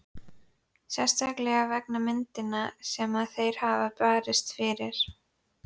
Sérstaklega vegna hugmyndanna sem þeir hafa barist fyrir.